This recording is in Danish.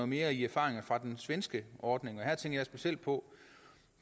mere i erfaringer fra den svenske ordning her tænker jeg specielt på